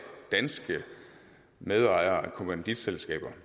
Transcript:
danske medejere af kommanditselskaber